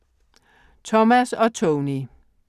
Thomas og Tony